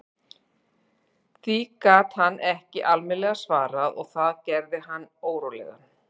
Því gat hann ekki almennilega svarað og það gerði hann órólegan.